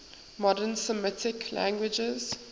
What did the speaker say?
modern semitic languages